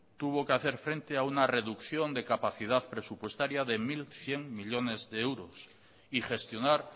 tuvo que hacer frente a reducción de capacidad presupuestaria de mil cien millónes de euros y gestionar